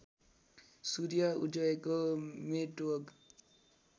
सूर्य उदयको मेतोग